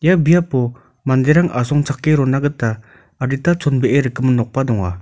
ia biapo manderang asongchake rona gita adita chonbee rikgimin nokba donga.